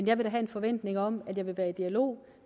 jeg vil da have en forventning om at jeg vil være i dialog